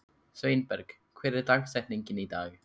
Sveinberg, hver er dagsetningin í dag?